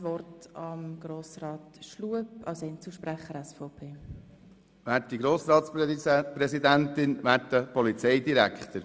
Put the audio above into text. – Nun hat Grossrat Schlup als Einzelsprecher das Wort.